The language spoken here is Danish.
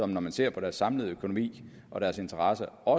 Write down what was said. når man ser på deres samlede økonomi og deres interesser og